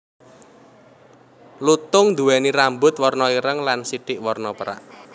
Lutung nduwèni rambut warna ireng lan sithik warna pérak